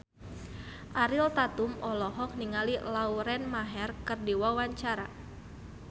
Ariel Tatum olohok ningali Lauren Maher keur diwawancara